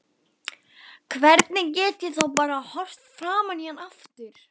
Hvernig get ég þá bara horft framan í hann aftur?